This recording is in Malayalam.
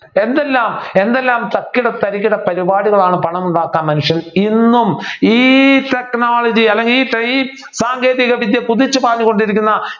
എന്തെല്ലാം എന്തെല്ലാം തക്കിട തരികിട പരിപാടികളാണ് പണം ഉണ്ടാക്കാൻ മനുഷ്യൻ എന്നും ഈ technology അല്ലെങ്കിൽ ഈ ഈ സാങ്കേതികവിദ്യ കുതിച്ച് പാഞ്ഞുകൊണ്ടിരിക്കുന്ന